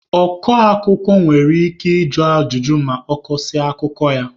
Ọ kọ akụkọ nwere ike ịjụ ajụjụ ma ọ kọsịa akụkọ ya.